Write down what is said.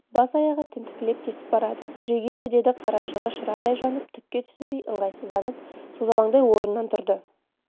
бас-аяғын тінтікілеп тесіп барады түрегелші деді қарашығы шырадай жанып түкке түсінбей ыңғайсызданып созалаңдай орнынан тұрды